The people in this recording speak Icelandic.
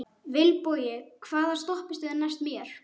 Vilbogi, hvaða stoppistöð er næst mér?